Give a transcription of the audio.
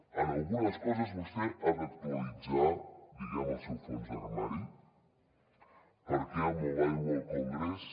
en algunes coses vostè ha d’actualitzar diguem ne el seu fons d’armari perquè el mobile world congress